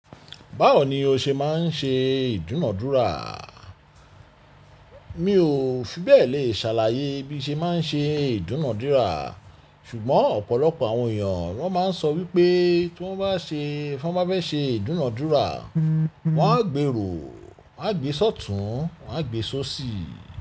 Báwo ni o ṣe máa ń ṣe ìdúnadúrà? Mi ò fibẹ̀ lè ṣàlàyé bí mo ṣe máa ń ṣe ìdúnadúrà, ṣùgbọ́n ọ̀pọ̀lọpọ̀ àwọn èèyàn wọ́n máa ń sọ wípé tí wọ́n bá ṣe, tí wọ́n bá fẹ́ ṣe ìdúnadúrà, wọ́n á gbèrò, wọ́n á gbé ṣọ̀tún, wọ́n á gbé sósì.